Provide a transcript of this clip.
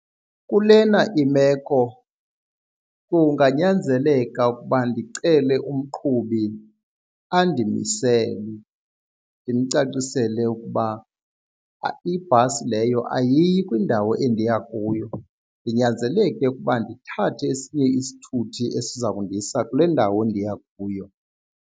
Kulena imeko kunganyanzeleka ukuba ndicele umqhubi andimisele ndimcacisele ukuba ibhasi leyo ayiyi kwindawo endiya kuyo ndinyanzeleke ukuba ndithathe esinye isithuthi esiza kundisa kule ndawo ndiya kuyo.